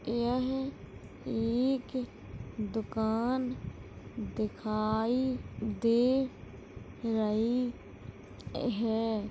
यह एक दुकान दिखाई दे रही है।